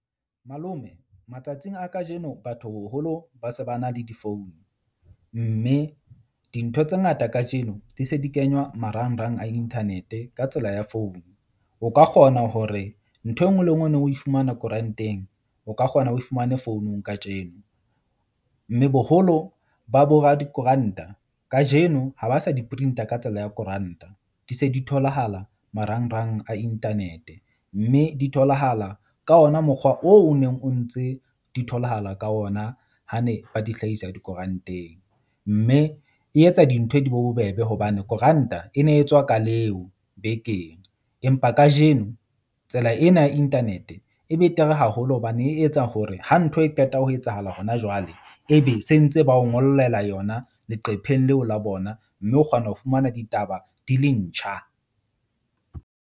Malome matsatsing a kajeno batho boholo ba se ba na le difounu. Mme dintho tse ngata kajeno di se di kenywa marangrang a internet-e ka tsela ya founu. O ka kgona hore ntho e nngwe le e nngwe neng o e fumana koranteng, o ka kgona o e fumane founung kajeno. Mme boholo ba bo radikoranta kajeno ha ba sa di print-a ka tsela ya koranta. Di se di tholahala marangrang a internet mme di tholahala ka ona mokgwa oo o neng o ntse di tholahala ka ona ha ne ba di hlahisa dikoranteng. Mme e etsa dintho di be bobebe hobane koranta e ne e tswa ka leo bekeng. Empa kajeno tsela ena ya internet-e e betere haholo hobane e etsa hore ha ntho e qeta ho etsahala hona jwale. Ebe sentse ba o ngollela yona leqepheng leo la bona, mme o kgona ho fumana ditaba di le ntjha.